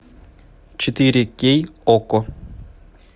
четыре кей окко